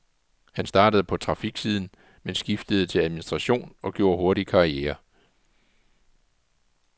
Han startede på trafiksiden, men skiftede til administration og gjorde hurtigt karriere.